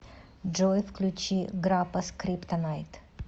джой включи группа скриптонит